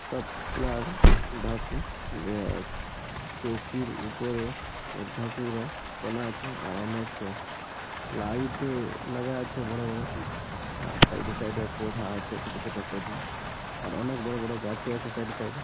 চৌকির উপরে অনেক লাইট - এ লাগা আছে বড় বড় আর সাইডে সাইডে - এ পধা আছে ছোট ছোট পধা আর অনেক বড় বড় গাছও আছে সাইডে সাইডে ।